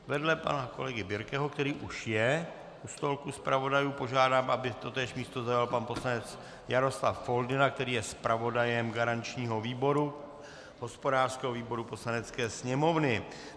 Vedle pana kolegy Birkeho, který už je u stolku zpravodajů, požádám, aby totéž místo zaujal pan poslanec Jaroslav Foldyna, který je zpravodajem garančního výboru, hospodářského výboru Poslanecké sněmovny.